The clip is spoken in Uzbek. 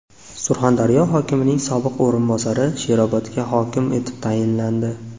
Surxondaryo hokimining sobiq o‘rinbosari Sherobodga hokim etib tayinlandi.